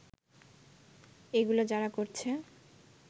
এগুলো যারা করছে